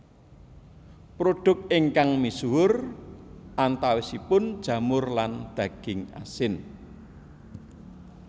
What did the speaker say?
Produk ingkang misuhur antawisipun jamur lan daging asin